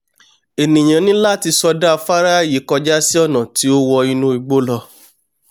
ènìà ní láti sọdá afárá yìí kọjá sí ọ̀nà tí ó wọ inú igbó lọ